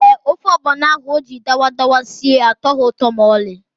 Ee, ofe ọgbọnọ ahụ o jiri dawadawa sie atọghị ụtọ ma ọlị.